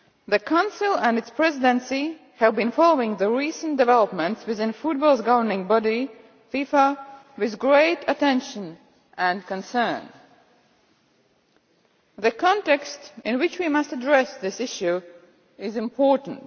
The Council and its Presidency have been following the recent developments within football's governing body, FIFA, with great attention and concern. The context in which we must address this issue is important.